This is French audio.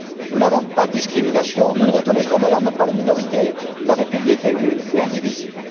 Nous n'avons pas de politique discriminatoire, nous ne reconnaissons d'ailleurs même pas les minorités. La République est une et indivisible.